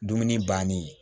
Dumuni bannen